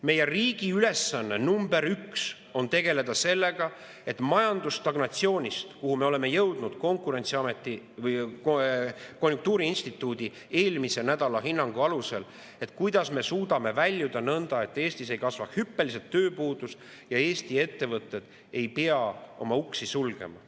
Meie riigi ülesanne nr 1 on tegeleda sellega, kuidas me suudame majanduse stagnatsioonist, kuhu me oleme jõudnud ka konjunktuuriinstituudi eelmise nädala hinnangu alusel, väljuda nõnda, et Eestis ei kasva hüppeliselt tööpuudus ja Eesti ettevõtted ei pea oma uksi sulgema.